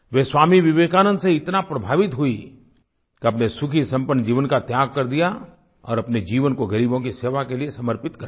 वे स्वामी विवेकानंद से इतना प्रभावित हुई कि अपने सुखीसंपन्न जीवन का त्याग कर दिया और अपने जीवन को ग़रीबों की सेवा के लिए समर्पित कर दिया